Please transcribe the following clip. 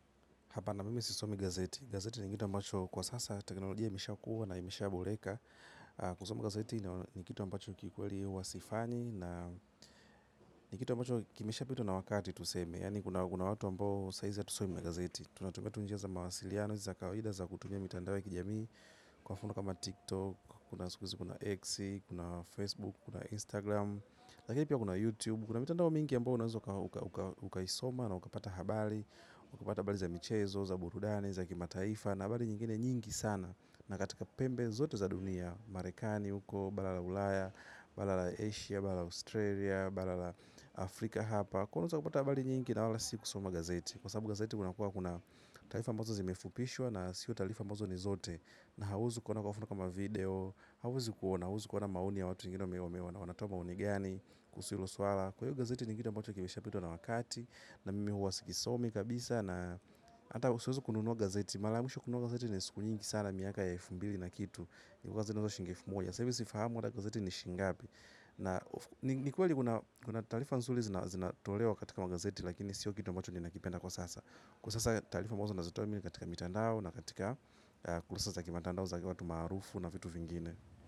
Hapana mimi sisomi gazeti. Gazeti ni kitu ambacho kwa sasa teknologia imeshakuwa na imeshaboreka. Kusoma gazeti ni kitu ambacho kikweli huwa sifanyi na ni kitu ambacho kimesha pitwa na wakati tuseme. Yani kuna watu ambao saizi atusomi magazeti. Tunatumia tu njia za mawasiliano, za kawaida za kutumia mitandao ya kijamii. Kwa mfano kama TikTok, kuna sukuizi, kuna X, kuna Facebook, kuna Instagram. Lakini pia kuna YouTube, kuna mitandao mingi ambao uka isoma na ukapata habali. Wakupata habali za michezo, za burudani, za kimataifa na habali nyingine nyingi sana na katika pembe zote za dunia marekani huko, bala la ulaya bala la Asia, bala la Australia bala la Afrika hapa kwa iyo unaeza ukupata habali nyingi na wala si kusoma gazeti kwa sababu gazeti unakuwa kuna tarifa ambazo zimefupishwa na siyo talifa mozo ni zote na hauezi kuona kwa mfano kama video hauezi kuona, hauezi kuona maoni ya watu wengine meomewa na wanatoa maoni gani kuusu ilo suala kwa hiyo gazeti ni kitu ambacho kimeshapitwa na wakati na mimi huwa sikisomi kabisa na ata siwezi kununuwa gazeti malamisho kununuwa gazeti ni siku nyingi sana miaka ya elfu mbili na kitu ni kukazinuza shingifu moja sabi sifahamu wada gazeti ni shingabi na nikuwa li guna talifa nzuli zinatolewa katika magazeti lakini sio kitu mbacho ni nakipenda kwa sasa kwa sasa talifa ambazo nazitoa mi ni katika mitandao na katika ukulasa sa za kimatandao za kwa tu marufu na vitu vingine.